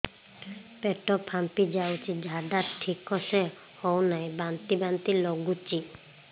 ପେଟ ଫାମ୍ପି ଯାଉଛି ଝାଡା ଠିକ ସେ ହଉନାହିଁ ବାନ୍ତି ବାନ୍ତି ଲଗୁଛି